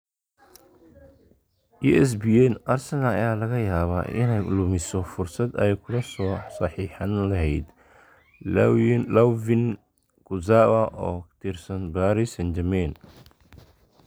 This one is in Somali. (ESPN) Arsenal ayaa laga yaabaa inay lumiso fursad ay kula soo saxiixan lahayd Layvin Kurzawa oo ka tirsan Paris St-Germain.